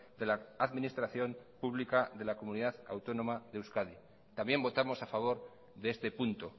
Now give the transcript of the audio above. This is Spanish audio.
de la administración pública de la comunidad autónoma de euskadi también votamos a favor de este punto